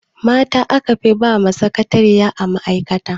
Mata a kafi ba sakatariya a ma'aikata.